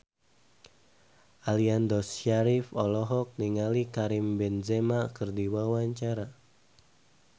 Aliando Syarif olohok ningali Karim Benzema keur diwawancara